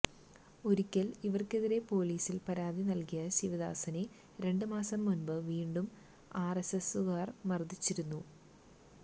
ഒരിക്കല് ഇവര്ക്കെതിരെ പൊലിസില് പരാതി നല്കിയ ശിവദാസനെ രണ്ടുമാസം മുൻപ് വീണ്ടും ആര് എസ് എസുകാര് മര്ദ്ദിച്ചിരുന്നു